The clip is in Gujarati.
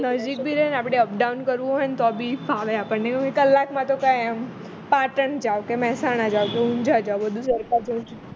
નજીક બી રે ને આપણે up down કરવું હોય ને ઓ બી ફાવે આપણને એવું કલાકમાં તો પાટણ જાવ કે મેહસાણા જાવ કે ઉંજાં જાવ બધું સરખા જેવું જ છે